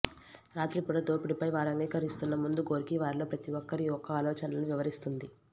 రాత్రిపూట దోపిడీపై వారు అంగీకరిస్తున్న ముందు గోర్కీ వారిలో ప్రతి ఒక్కరి యొక్క ఆలోచనలను వివరిస్తుంది